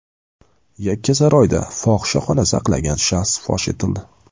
Yakkasaroyda fohishaxona saqlagan shaxs fosh etildi.